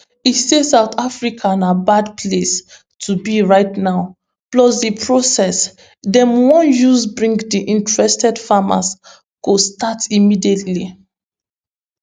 e say south africa na bad place to be right now plus di process dem wan use bring di interested farmers go start immediately